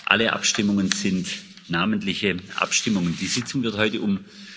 Alle Abstimmungen sind namentliche Abstimmungen. Die Sitzung wird heute um